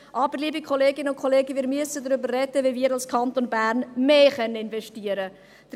Aber, liebe Kolleginnen und Kollegen, wir müssen darüber sprechen, wie wir als Kanton Bern mehr investieren können.